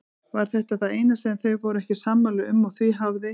Var þetta það eina sem þau voru ekki sammála um og því hafði